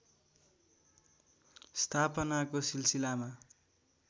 स्थापनाको सिलसिलामा